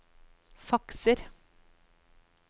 fakser